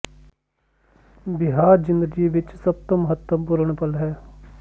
ਵਿਆਹ ਦੀ ਜ਼ਿੰਦਗੀ ਵਿਚ ਸਭ ਤੋਂ ਮਹੱਤਵਪੂਰਣ ਪਲ ਹੈ